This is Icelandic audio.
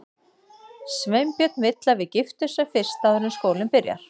Sveinbjörn vill að við giftumst sem fyrst, áður en skólinn byrjar.